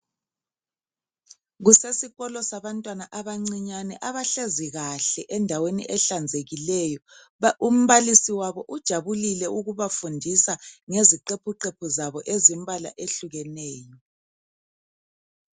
Kusesikolo sabantwana abancinyane abahlezi kahle endaweni ehlanzekileyo umbalisi wabo ujabulile ukubafundisa ngeziqephuqephu zabo ezilembala ehlukeneyo.